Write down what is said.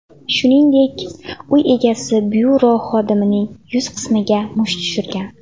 Shuningdek, uy egasi byuro xodimining yuz qismiga musht tushirgan.